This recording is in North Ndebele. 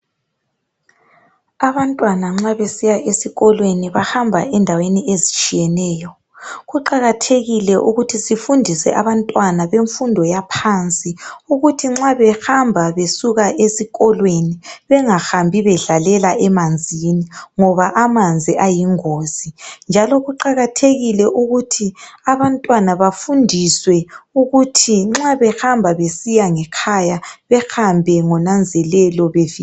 Abantwana nxa besiya ezikolweni bahamba endaweni ezitshiyeneyo. Kuqakathekile ukuthi sifundise abantwana bemfundo yaphansi, ukuthi nxa behamba, besuka esikolweni, bangahambi bedlalela emanzini, ngoba amanzi ayingozi, njalo kuqakathekile ukuthi bafundiswe ukuthi nxa behamba besiya ngekhaya behambe ngonanzelelo. Bevika amanzi.